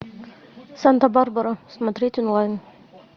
санта барбара смотреть онлайн